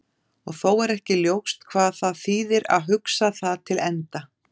Og þó er ekki ljóst hvað það þýðir að hugsa það til enda.